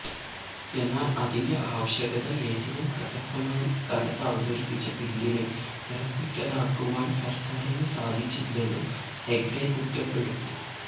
എന്നാല് അതിന്റെ ആവശ്യകത ഏറ്റവും പ്രസക്തമായ ഇക്കാലത്ത് അവതരിപ്പിച്ച ബില്ലിനെ കരുത്തുറ്റതാക്കുവാന് സര്ക്കാരിന് സാധിച്ചില്ലെന്നും ഹെഗ്ഡെ കുറ്റപ്പെടുത്തി